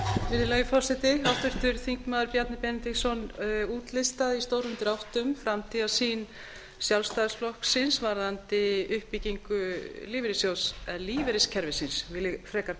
virðulegi forseti háttvirtur þingmaður bjarni benediktsson útlistaði í stórum dráttum framtíðarsýn sjálfstæðisflokksins varðandi uppbyggingu líferyissjóðs eða lífeyriskerfisins vil ég frekar